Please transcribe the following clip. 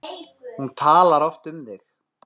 Hún talar oft um þig